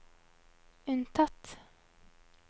unntatt